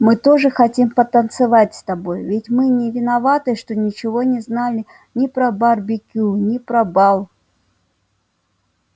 мы тоже хотим потанцевать с тобой ведь мы не виноваты что ничего не знали ни про барбекю ни про бал